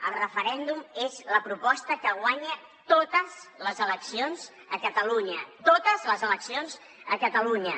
el referèndum és la proposta que guanya totes les eleccions a catalunya totes les eleccions a catalunya